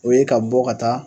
O ye ka bɔ ka taa